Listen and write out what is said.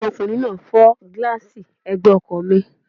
Ọmọkùnrin náà fọ́ gílààsì ẹ̀gbẹ́ ọkọ̀ mi